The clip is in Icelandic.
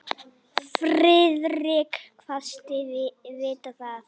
Friðrik kvaðst vita það.